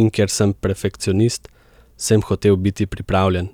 In ker sem perfekcionist, sem hotel biti pripravljen,